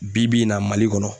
Bi bi in na Mali kɔnɔ.